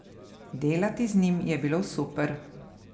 Delati z njim je bilo super.